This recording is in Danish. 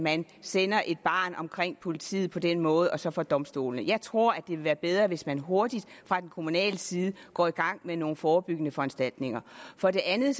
man sender et barn omkring politiet på den måde og så for domstolene jeg tror at det ville være bedre hvis man hurtigt fra den kommunale side går i gang med nogle forebyggende foranstaltninger for det andet